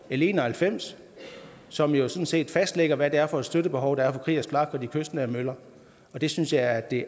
en og halvfems som jo sådan set fastlægger hvad det er for et støttebehov der er for kriegers flak og de kystnære møller og det synes jeg er det